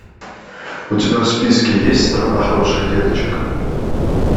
у тебя в списке есть страна хороших деточек